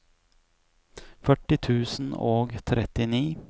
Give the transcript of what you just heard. førti tusen og trettini